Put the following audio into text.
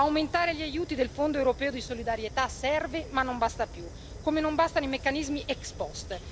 Aumentare gli aiuti del Fondo europeo di solidarietà serve ma non basta più, come non bastano i meccanismi ex post.